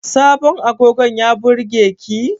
Sabon agogon ya burge ki?